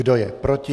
Kdo je proti?